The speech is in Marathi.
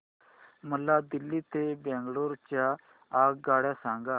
मला दिल्ली ते बंगळूरू च्या आगगाडया सांगा